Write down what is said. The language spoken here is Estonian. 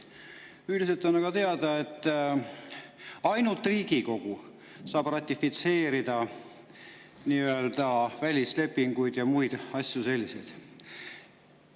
Üldiselt on aga teada, et ainult Riigikogu saab ratifitseerida nii-öelda välislepinguid ja muid selliseid asju.